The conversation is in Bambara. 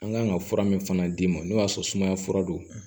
An kan ka fura min fana d'i ma n'o y'a sɔrɔ sumaya fura don